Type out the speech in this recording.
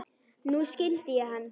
Nú skildi ég hann.